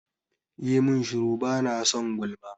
Yi mun shuru! bana son gulma.